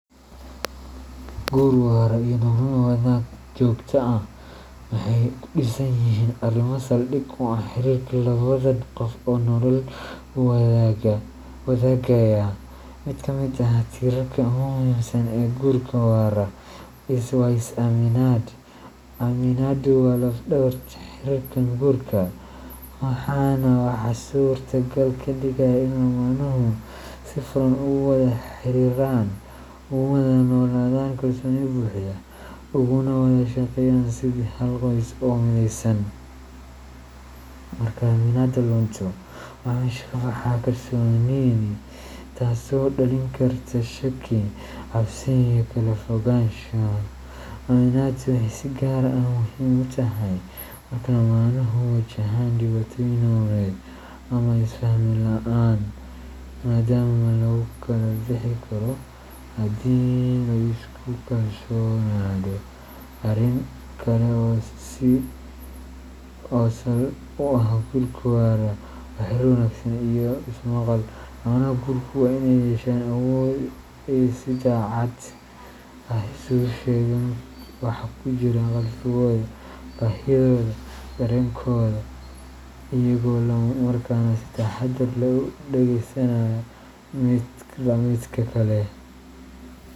Guur waara iyo nolol wadaag joogto ah waxay ku dhisan yihiin arrimo sal dhig u ah xiriirka labadan qof oo nolol wadaagaya. Mid ka mid ah tiirarka ugu muhiimsan ee guurka waara waa is aaminaad. Aaminaadu waa laf dhabarta xiriirka guurka, waana waxa suurtagal ka dhigaya in lamaanuhu si furan ugu wada xiriiraan, ugu wada noolaadaan kalsooni buuxda, uguna wada shaqeeyaan sidii hal qoys oo mideysan. Marka aaminaadda lunto, waxaa meesha ka baxa kalsoonidii, taasoo dhalin karta shaki, cabsi, iyo kala fogaansho. Aaminaadu waxay si gaar ah muhiim u tahay marka lamaanuhu wajahaan dhibaatooyin nololeed ama isfaham la’aan, maadaama lagu kala bixi karo haddii la isku kalsoonaado. Arrin kale oo sal u ah guurka waara waa xiriirka wanaagsan iyo is maqal. Lamaanaha guurku waa inay yeeshaan awood ay si daacad ah isugu sheegaan waxa ku jira qalbigooda, baahidooda, iyo dareenkooda, iyagoo isla markaana si taxadar leh u dhageysanaya midba midka kale.